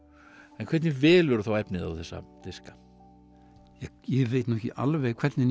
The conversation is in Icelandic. en hvernig velurðu þá efnið á þessa diska ég veit nú ekki alveg hvernig ég